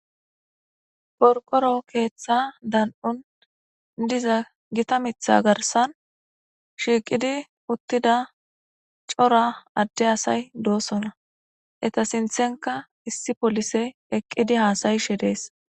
Qoriqoro keeththa darikon diza gita mita garisan shiqidi utida cora adde asay dosona eta sintenka issi polise eqidi hasayishe des.